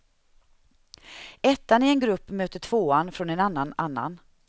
Ettan i en grupp möter tvåan från en annan annan.